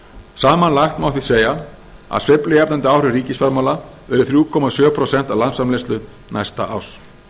samanlagt má því segja að sveiflujafnandi áhrif ríkisfjármála verði þrjú komma sjö prósent af landsframleiðslu næsta árs